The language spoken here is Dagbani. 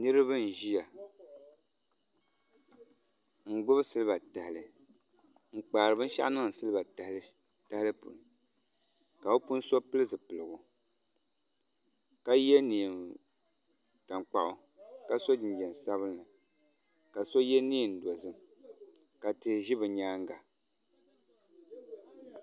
Niraba n ʒiya n gbubi silba tahali n kpaari binshaɣu niŋdi silba tahali puuni ka bi puuni so pili zipiligu ka yɛ neen tankpaɣu ka so jinjɛm sabinli ka so yɛ neen dozim ka tihi ʒi bi nyaanga